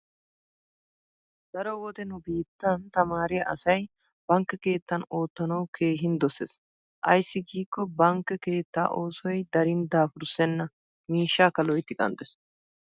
Daro wode nu biittan tamaariya asay bankke keettan oottanawu keehin dosees. Ayssi giikko bankke keettaa ossoy darin daafurssenna mishshakka loytti qanxxees.